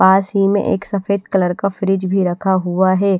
पास ही में एक सफेद कलर का फ्रिज भी रखा हुआ है।